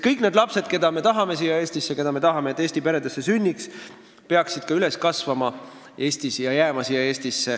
Kõik need lapsed, keda me siia tahame, et nad Eesti peredesse sünniks, peaksid siin ka üles kasvama ja siia Eestisse jääma.